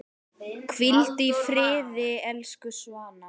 Hvíldu í friði, elsku Svana.